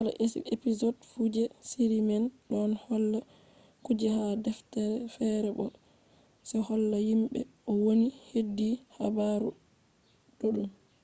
kala episod fu je shiri man don holla kuje ha deftere fere bo se holla himbe no woni hedi habaru duddum